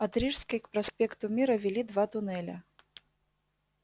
от рижской к проспекту мира вели два туннеля